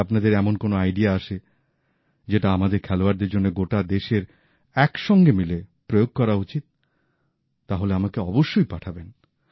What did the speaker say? যদি আপনাদের এমন কোনও আইডিয়া আসে যেটা আমাদের খেলোয়াড়দের জন্য গোটা দেশের একসঙ্গে মিলে প্রয়োগ করা উচিত তাহলে আমাকে অবশ্যই পাঠাবেন